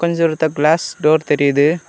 இது ஒருத்த glass door தெரியுது.